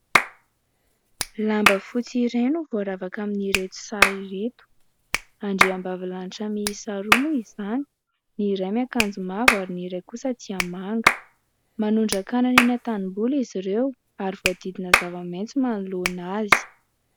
Lamba fotsy iray no voaravaka amin'ireto sary ireo, andriambavilanitra miisa roa moa izany, ny iray miakanjo mavo ary ny iray kosa dia manga. Manondraka anana eny an-tanimboly izy ireo ary voahodidina zava-maitso manoloana azy.